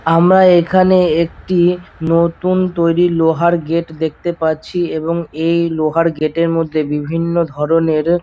আমরা এখানে একটি নতুন তৈরি লোহার গেট দেখতে পারছি এবং এই লোহার গেট এর মধ্যে বিভিন্ন ধরনের--